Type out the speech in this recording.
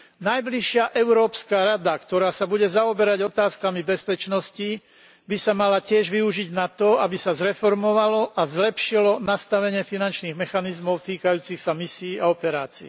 Najbližšia Európska rada, ktorá sa bude zaoberať otázkami bezpečnosti, by sa mala tiež využiť na to, aby sa zreformovalo a zlepšilo nastavenie finančných mechanizmov týkajúcich sa misií a operácií.